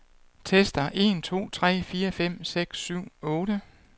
Tester en to tre fire fem seks syv otte.